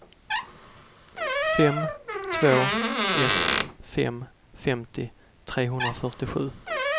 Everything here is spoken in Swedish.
fem två ett fem femtio trehundrafyrtiosju